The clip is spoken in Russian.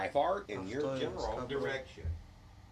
авто нск бронь